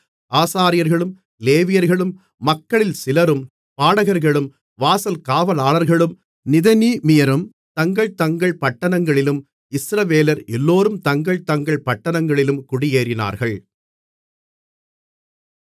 ஆசாரியர்களும் லேவியர்களும் மக்களில் சிலரும் பாடகர்களும் வாசல்காவலாளர்களும் நிதனீமியரும் தங்கள்தங்கள் பட்டணங்களிலும் இஸ்ரவேலர் எல்லோரும் தங்கள் தங்கள் பட்டணங்களிலும் குடியேறினார்கள்